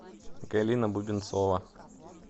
галина бубенцова